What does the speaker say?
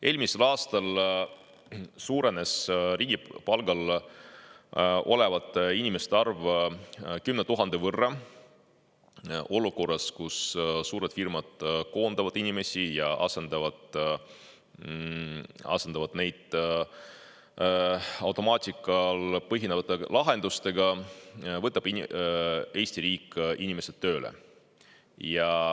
Eelmisel aastal suurenes riigi palgal olevate inimeste arv 10 000 võrra – olukorras, kus suured firmad koondavad inimesi ja asendavad neid automaatikal põhinevate lahendustega, võtab Eesti riik inimesed tööle.